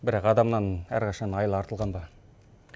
бірақ адамнан әрқашан айла артылған ба